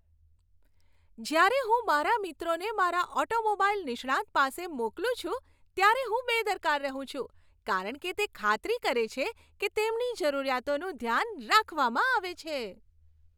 જ્યારે હું મારા મિત્રોને મારા ઓટોમોબાઈલ નિષ્ણાંત પાસે મોકલું છું ત્યારે હું બેદરકાર રહું છું, કારણ કે તે ખાતરી કરે છે કે તેમની જરૂરિયાતોનું ધ્યાન રાખવામાં આવે છે.